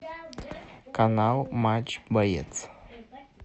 канал матч боец